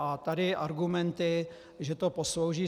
A tady argumenty, že to poslouží...